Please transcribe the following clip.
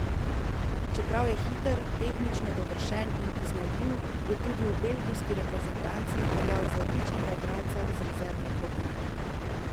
Čeprav je hiter, tehnično dovršen in iznajdljiv, je tudi v belgijski reprezentanci veljal za odličnega igralca z rezervne klopi.